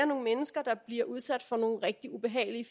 nogle mennesker der bliver udsat for nogle rigtig ubehagelige